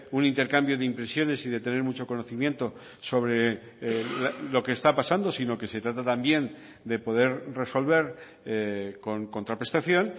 un intercambio de impresiones y de tener mucho conocimiento sobre lo que está pasando sino que se trata también de poder resolver con contraprestación